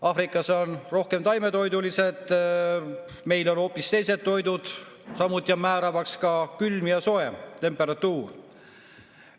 Aafrikas on rohkem taimetoidulisi, meil on hoopis teised toidud, samuti on määravaks külm ja soe temperatuur.